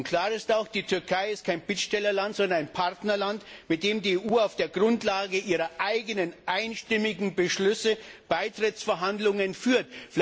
Klar ist auch Die Türkei ist kein Bittstellerland, sondern ein Partnerland, mit dem die EU auf der Grundlage ihrer eigenen einstimmigen Beschlüsse Beitrittsverhandlungen führt.